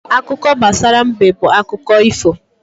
Akụkọ gbasara mbe bụ akụkọ ifo.